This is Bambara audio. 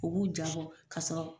U b'u jaa ka sɔrɔ